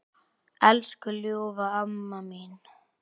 Elsku ljúfa amma mín.